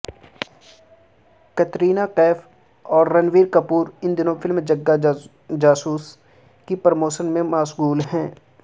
قطرینہ کیف اور رنبیر کپور ان دنوں فلم جگا جاسوس کی پروموشن میں مشغول ہیں